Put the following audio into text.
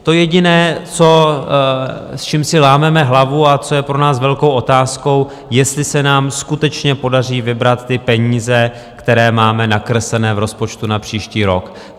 To jediné, s čím si lámeme hlavu a co je pro nás velkou otázkou, jestli se nám skutečně podaří vybrat ty peníze, které máme nakreslené v rozpočtu na příští rok.